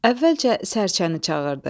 Əvvəlcə sərçəni çağırdı.